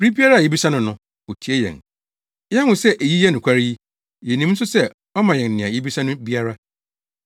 Bere biara a yebisa no no, otie yɛn. Yɛahu sɛ eyi yɛ nokware yi, yenim nso sɛ ɔma yɛn nea yebisa no biara.